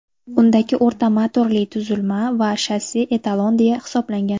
Undagi o‘rta motorli tuzilma va shassi etalon deya hisoblangan.